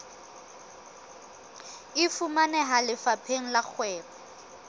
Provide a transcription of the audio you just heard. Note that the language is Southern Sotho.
e fumaneha lefapheng la kgwebo